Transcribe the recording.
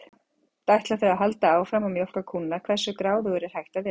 Samt ætla þau að halda áfram að mjólka kúnna, hversu gráðugur er hægt að vera?